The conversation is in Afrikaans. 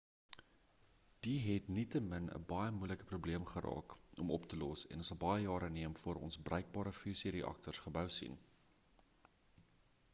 dit het nietemin 'n baie moeilike probleem geraak om op te los en sal baie jare neem voor ons bruikbare fusie reaktors gebou sien